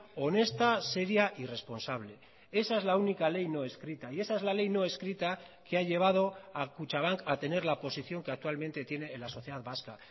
honesta seria y responsable esa es la única ley no escrita y esa es la ley no escrita que ha llevado a kutxabank a tener la posición que actualmente tiene en la sociedad vasca